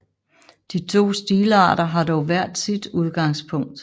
De to stilarter har dog hver sit udgangspunkt